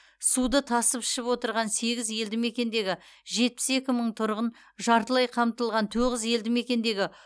суды тасып ішіп отырған сегіз елдімекендегі жетпіс екі мың тұрғын жартылай қамтылған тоғыз елдімекендегі